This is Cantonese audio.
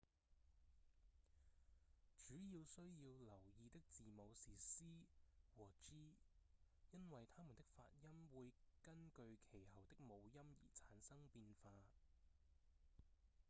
主要需要留意的字母是 c 和 g 因為它們的發音會根據其後的母音而產生變化